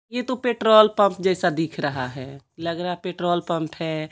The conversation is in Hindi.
यह तो पेट्रोल पंप जैसा दिख रहा है लग रहा है पेट्रोल पंप है।